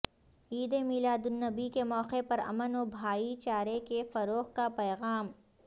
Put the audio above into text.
عید میلاد النبی کے موقع پر امن و بھائی چارے کے فروغ کا پیغام